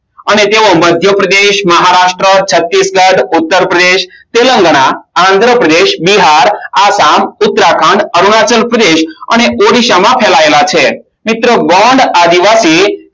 અને તેઓ મધ્યપ્રદેશના મહારાષ્ટ્ર છાતીશગઢ ઉત્તરપ્રદેશ તેલંગાના આંદ્રપ્રદેશ બિહાર આસામ ઉત્તરાખંડ અરુણાચલ પ્રદેશ અને ઓડિશામાં ફેલાયેલા છે મિત્રો ગોંડ આદિવાસી